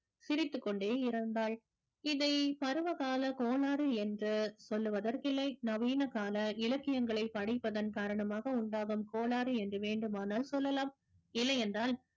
சிரித்துக்கொண்டே இருந்தாள் இதை பருவகால கோளாறு என்று சொல்லுவதற்கில்லை நவீன கால இலக்கியங்களை படிப்பதன் காரணமாக உண்டாகும் கோளாறு என்று வேண்டுமானால் சொல்லலாம் இல்லையென்றால்